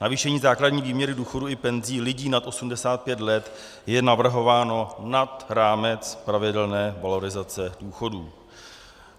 Navýšení základní výměry důchodů i penzí lidí nad 85 let je navrhováno nad rámec pravidelné valorizace důchodů.